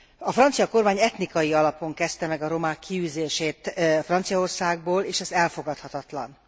A francia kormány etnikai alapon kezdte meg a romák kiűzését Franciaországból, és ez elfogadhatatlan.